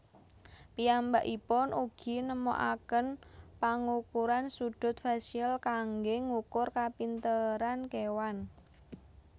Piyambakipun ugi nemokaken pangukuran sudut fasial kanggé ngukur kapinteran kéwan